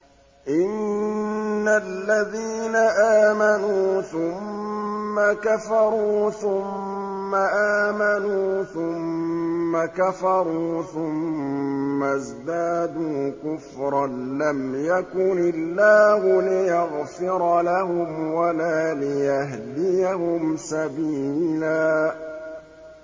إِنَّ الَّذِينَ آمَنُوا ثُمَّ كَفَرُوا ثُمَّ آمَنُوا ثُمَّ كَفَرُوا ثُمَّ ازْدَادُوا كُفْرًا لَّمْ يَكُنِ اللَّهُ لِيَغْفِرَ لَهُمْ وَلَا لِيَهْدِيَهُمْ سَبِيلًا